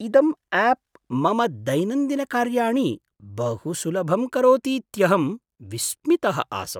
इदम् आप् मम दैनन्दिनकार्याणि बहु सुलभं करोतीत्यहं विस्मितः आसम्।